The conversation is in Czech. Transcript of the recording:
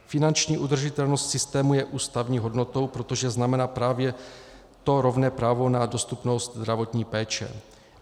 Finanční udržitelnost systému je ústavní hodnotou, protože znamená právě to rovné právo na dostupnost zdravotní péče.